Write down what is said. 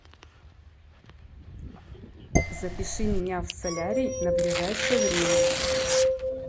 запиши меня в солярий на ближайшее время